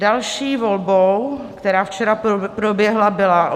Další volbou, která včera proběhla, byla